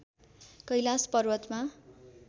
कैलाश पर्वतमा